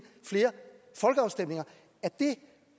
flere folkeafstemninger er det